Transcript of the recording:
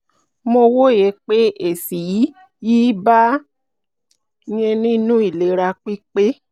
mo wòye pé èsì yìí yìí bàa yín nínú ìlera pípé